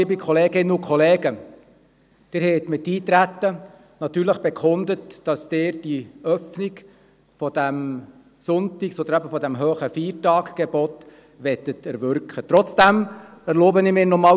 Mit Ihrem Eintreten auf die Vorlage haben Sie bekundet, dass Sie beim Sonntags- und beim Feiertagsgebot eine Öffnung erwirken möchten.